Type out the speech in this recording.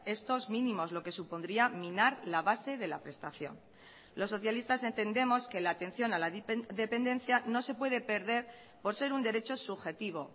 estos mínimos lo que supondría minar la base de la prestación los socialistas entendemos que la atención a la dependencia no se puede perder por ser un derecho subjetivo